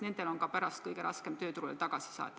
Nendel on kõige raskem pärast tööturule tagasi saada.